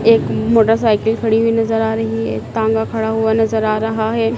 एक मोटरसाइकिल खड़ी हुई नजर आ रही है तांगा खड़ा हुआ नजर आ रहा है।